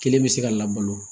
Kelen bɛ se ka labalo